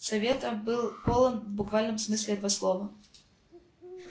совета был полон в буквальном смысле этого слова